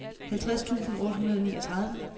halvtreds tusind otte hundrede og niogtredive